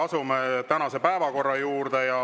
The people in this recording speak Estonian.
Asume tänase päevakorra juurde.